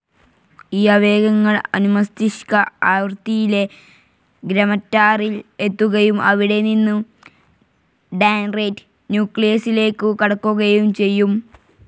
ഈ ആവേഗങ്ങൾ അനുമസ്തിഷ്ക ആവൃതിയിലെ ഗ്രെമറ്റാരിൽ എത്തുകയും അവിടെനിന്നും ഡാൻറേറ്റ് ന്യൂക്ലിയസ്സിലേക്കു കടക്കുകയും ചെയ്യും.